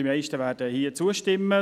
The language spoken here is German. die meisten werden ihr zustimmen.